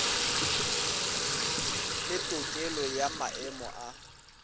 le tokelo ya maemo a